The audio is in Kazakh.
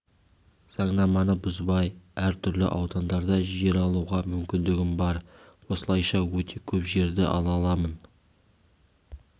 заңнаманы бұзбай әр түрлі аудандарда жер алуға мүмкіндігім бар осылайша өте көп жерді ала аламын